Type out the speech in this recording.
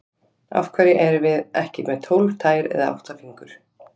Af hverju erum við ekki með tólf tær eða átta fingur?